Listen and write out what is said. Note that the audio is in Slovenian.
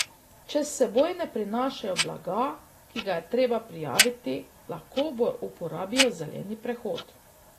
Če s seboj ne prinašajo blaga, ki ga je treba prijaviti, lahko uporabijo zeleni prehod.